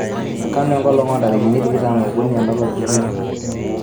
kanu enkolong oo ntarikini tikitam okuni olapa liokuni